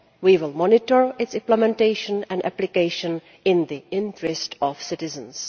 We will monitor its implementation and application in the interest of citizens.